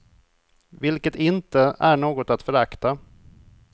Vilket inte är något att förakta.